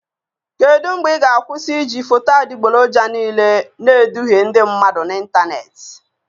Kedu mgbe ị ga-akwụsị iji foto adịgboroja niile na-eduhie ndị mmadụ n'ịntanetị?